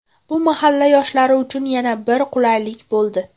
Bu mahalla yoshlari uchun yana bir qulaylik bo‘ldi.